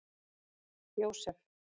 Jósef